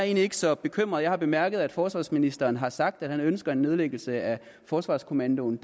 ikke så bekymret jeg har bemærket at forsvarsministeren har sagt at han ønsker en nedlæggelse af forsvarskommandoen